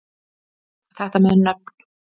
Þetta með nöfn